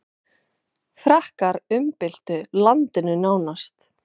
Frakkar umbyltu landinu nánast.